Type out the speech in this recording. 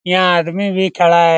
यहाँ आदमी भी खड़ा है।